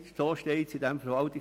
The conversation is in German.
So steht es im VRPG.